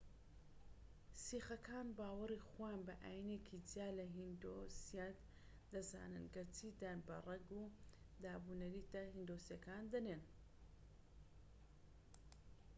سیخەکان باوەڕی خۆیان بە ئاینێکی جیا لە هیندۆسیەت دەزانن، گەرچی دان بە ڕەگ و دابونەریتە هیندۆسییەکانی دەنێن‎